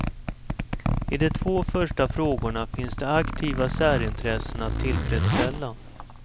I de två första frågorna finns det aktiva särintressen att tillfredsställa.